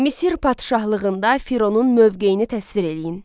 Misir padşahlığında Fironun mövqeyini təsvir eləyin.